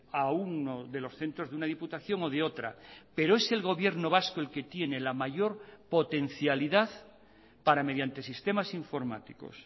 a uno de los centros de una diputación o de otra pero es el gobierno vasco el que tiene la mayor potencialidad para mediante sistemas informáticos